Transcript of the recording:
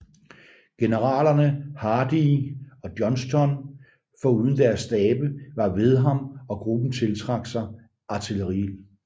Generalerne Hardee og Johnston foruden deres stabe var ved ham og gruppen tiltrak sig artilleriild